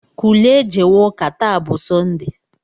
Kulie jewe ụka, taa bụ sọnde!